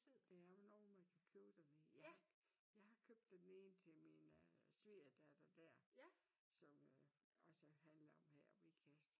Det er jo nogle man kan købe dernede. Jeg har købt den ene til min svingerdatter der som også handler her om Ikast